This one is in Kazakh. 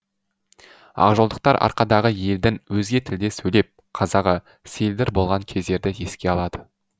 ақжолдықтар арқадағы елдің өзге тілде сөйлеп қазағы селдір болған кездерді еске алады